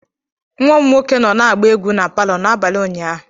Nwa m nwoke nọ na-agba egwu na palọ n'abalị ụnyaahụ.